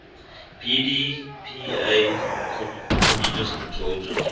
pdpa communist controlled regime